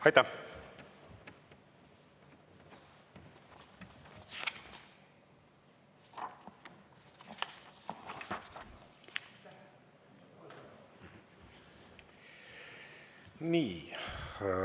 Aitäh!